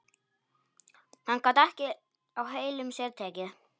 Hann gat ekki á heilum sér tekið.